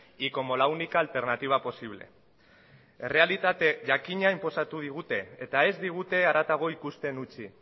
y como la única alternativa posible errealitate jakina inposatu digute eta ez digute haratago ikusten utzi